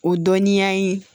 O dɔnniya in